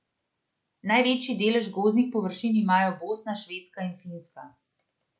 Največji delež gozdnih površin imajo Bosna, Švedska in Finska.